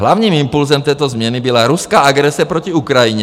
Hlavním impulsem této změny byla ruská agrese proti Ukrajině.